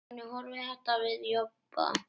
Hvernig horfir þetta við Jobba?